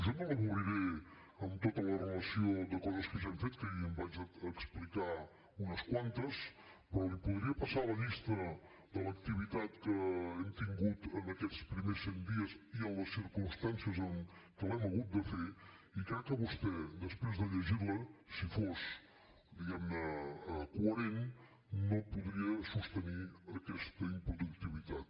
jo no l’avorriré amb tota la relació de coses que ja hem fet que ahir en vaig explicar unes quantes però li podria passar la llista de l’activitat que hem tingut en aquests primers cent dies i en les circumstàncies en què l’hem hagut de fer i crec que vostè després de llegirla si fos diguemne coherent no podria sostenir aquesta improductivitat